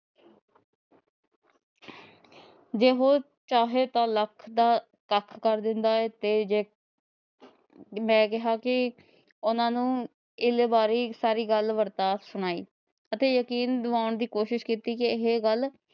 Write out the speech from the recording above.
ਜੇ ਉਹ ਚਾਹੇ ਤਾ ਲੱਖ ਦਾ ਕੱਖ ਕਰ ਦਿੰਦਾ ਹੈ ਤੇ ਜੇ ਮੈ ਕਿਹਾ ਕੀ ਉਹਨਾਂ ਨੂੰ ਇੱਲ ਵਾਰੇ ਸਾਰੀ ਗੱਲ ਵਰਤਾ ਸੁਣਾਈ ਅਤੇ ਜਕੀਨ ਦਵਾਉਣ ਦੀ ਕੋਸ਼ਿਸ਼ ਕੀਤੀ ਕੀ ਇਹ ਗੱਲ